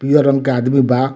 पियर रंग के आदमी बा।